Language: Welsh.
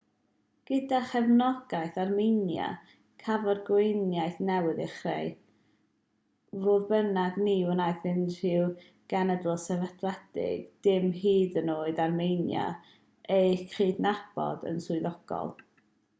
gyda chefnogaeth armenia cafodd gweriniaeth newydd ei chreu fodd bynnag ni wnaeth unrhyw genedl sefydledig dim hyd yn oed armenia ei chydnabod yn swyddogol